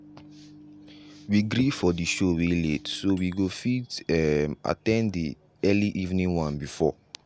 we gree for the show wey late so we go fit um at ten d the early evening one before.